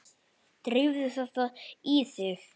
Drífðu þetta þá í þig.